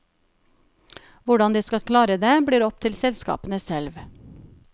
Hvordan de skal klare det, blir opp til selskapene selv.